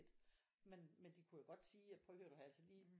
Men men de kunne jo godt sige at prøv at høre du har altså lige